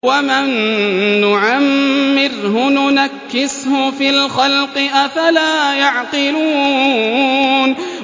وَمَن نُّعَمِّرْهُ نُنَكِّسْهُ فِي الْخَلْقِ ۖ أَفَلَا يَعْقِلُونَ